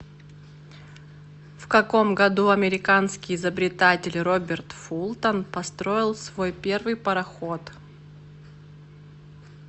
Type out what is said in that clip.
в каком году американский изобретатель роберт фултон построил свой первый пароход